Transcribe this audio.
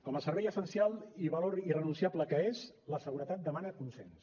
com a servei essencial i valor irrenunciable que és la seguretat demana consens